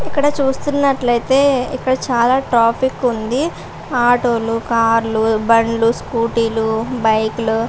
ఇక్కడ చూస్తున్నట్లయితే ఇక్కడ చాలా ట్రాఫిక్కు ఉంది. ఆటోలు కార్లు బళ్ళు స్కూటీ లు బైకులు --